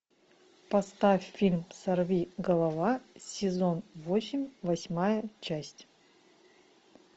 поставь фильм сорвиголова сезон восемь восьмая часть